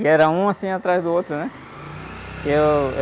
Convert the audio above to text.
E era um, assim, atrás do outro, né? E eu...